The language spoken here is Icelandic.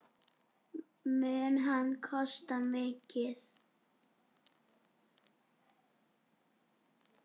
Mun hann kosta mikið?